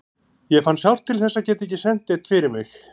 Ég fann sárt til þess að geta ekki sent neinn fyrir mig.